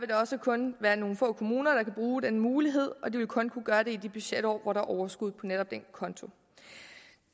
det også kun være nogle få kommuner der kan bruge den mulighed og de vil kun kunne gøre det i de budgetår hvor der er overskud på netop den konto